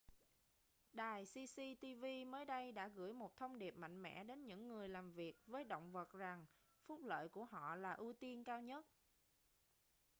đài cctv mới đây đã gửi một thông điệp mạnh mẽ đến những người làm việc với động vật rằng phúc lợi của họ là ưu tiên cao nhất